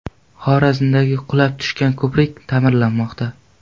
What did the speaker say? Xorazmdagi qulab tushgan ko‘prik taʼmirlanmoqda.